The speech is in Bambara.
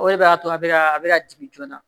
O de b'a to a bɛ ka a bɛ ka jigin joona